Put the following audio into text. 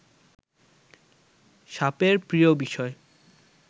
সাপের প্রিয় বিষয়